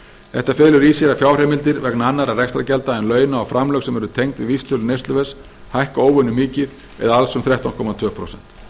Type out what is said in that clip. þetta felur í sér að fjárheimildir vegna annarra rekstrargjalda en launa og framlög sem eru tengd við vísitölu neysluverðs hækka óvenju mikið eða alls um þrettán komma tvö prósent